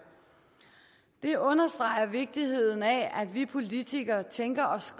det understreger vigtigheden af at vi politikere tænker os